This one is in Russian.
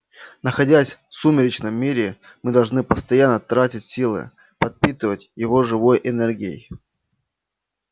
находясь в сумеречном мире мы должны постоянно тратить силы подпитывать его живой энергией